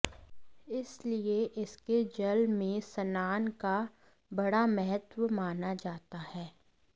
इसलिए इसके जल में स्नान का बड़ा महत्व माना जाता है